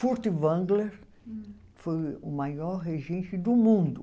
Furtwängler foi o maior regente do mundo.